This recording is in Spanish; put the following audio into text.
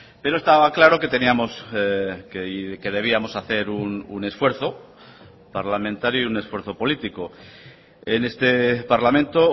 pero estaba claro que teníamos que debíamos hacer un esfuerzo parlamentario y un esfuerzo político en este parlamento